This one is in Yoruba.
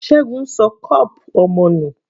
Ṣẹgun ṣọ cup ọmọ nù.